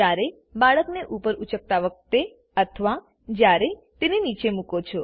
જયારે બાળકને ઉપર ઉચકતા વખતે અથવા જયારે તેને નીચે મુકો છો